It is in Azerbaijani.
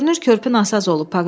Görünür körpü nasaz olub.